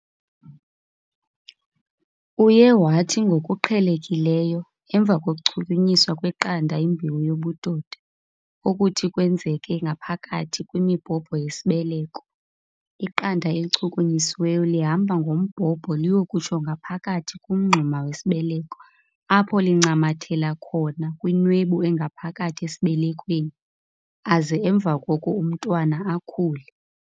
Uye wathi ngokuqhelekileyo, emva kokuchukunyiswa kweqanda yimbewu yobudoda - okuthi kwenzeke ngaphakathi kwimibhobho yesibeleko, iqanda elichukunyisiweyo lihamba ngombhobho liyokutsho ngaphakathi kumngxuma wesibeleko apho lincamathela khona kwinwebu engaphakathi esibelekweni, aze emva koko umntwana akhule.